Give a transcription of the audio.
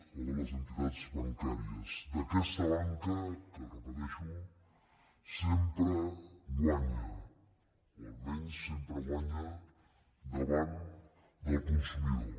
o de les entitats bancàries d’aquesta banca que ho repeteixo sempre guanya o almenys sempre guanya davant del consumidor